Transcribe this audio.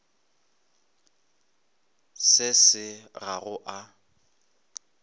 se se ga go a